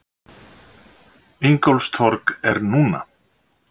Ingólfstorg er núna.